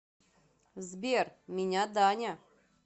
сбер меня даня